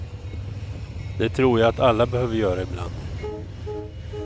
Det tror jag att alla behöver göra ibland.